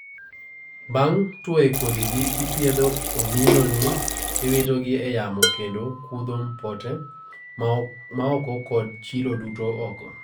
bang' tuoye kodhi gi ipiedho omino ni iwito gi e yamo kendo kudho pote maoko kod chilo duto oko